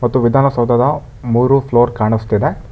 ಮತ್ತು ವಿಧಾನಸೌಧದ ಮೂರು ಫ್ಲೋರ್ ಕಾಣಿಸುತ್ತಿದೆ.